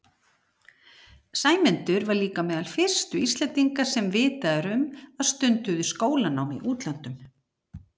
Sæmundur var líka meðal fyrstu Íslendinga sem vitað er um að stunduðu skólanám í útlöndum.